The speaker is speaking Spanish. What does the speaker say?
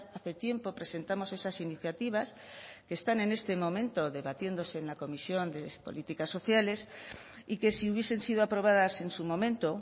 hace tiempo presentamos esas iniciativas que están en este momento debatiéndose en la comisión de políticas sociales y que si hubiesen sido aprobadas en su momento